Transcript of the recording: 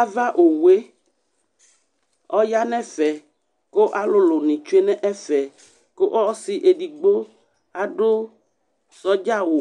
Ava owu yɛ, ɔya nʋ ɛfɛ kʋ alʋlʋnɩ tsue nʋ ɛfɛ kʋ ɔsɩ edigbo adʋ sɔdza awʋ